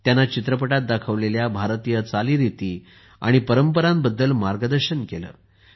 त्यांना चित्रपटात दाखवलेल्या भारतीय चालीरीती आणि परंपरांबद्दल मार्गदर्शन केले